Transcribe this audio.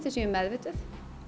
við séum meðvituð